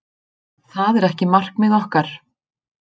Það er ekki markmið okkar.